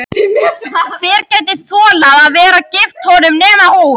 Hver gæti þolað að vera gift honum nema hún?